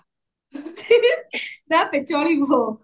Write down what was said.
ଚଲିବ